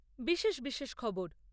বিশেষ বিশেষ খবর